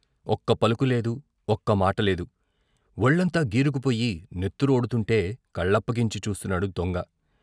ఒక్క పలుకు లేదు, ఒక్క మాట లేదు, వొళ్ళంతా గీరుకుపోయి నెత్తు రోడుతుంటే కళ్ళప్పగించి చూస్తున్నాడు దొంగ.